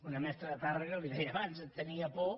una mestra de tàrrega li ho deia abans tenia por